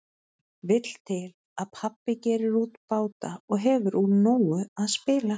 Vill til að pabbi gerir út báta og hefur úr nógu að spila.